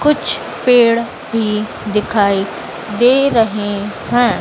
कुछ पेड़ भी दिखाई दे रहे हैं।